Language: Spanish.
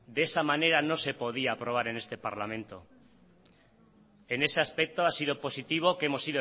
de esa manera no se podía aprobar en este parlamento en ese aspecto ha sido positivo que hemos